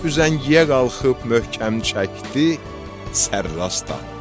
Üzəngiyə qalxıb möhkəm çəkdi, sərrast atdı.